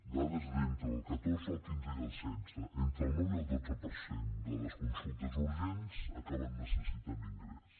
dades d’entre el catorze el quinze i el setze entre el nou i el dotze per cent de les consultes urgents acaben necessitant ingrés